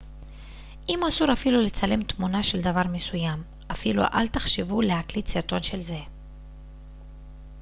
אם אסור אפילו לצלם תמונה של דבר מסוים אפילו אל תחשבו להקליט סרטון של זה